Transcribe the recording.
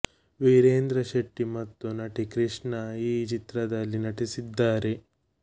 ವೀರೇಂದ್ರ ಶೆಟ್ಟಿ ಮತ್ತು ನಟಿ ಕೃಷ್ಣ ಈ ಚಿತ್ರದಲ್ಲಿ ನಟಿಸಿದ್ದಾರೆ